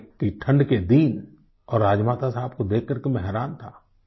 कड़ाके की ठण्ड के दिन और राजमाता साहब को देखकर के मैं हैरान था